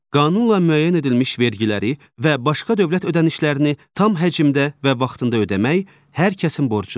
Qanunla müəyyən edilmiş vergiləri və başqa dövlət ödənişlərini tam həcmdə və vaxtında ödəmək hər kəsin borcudur.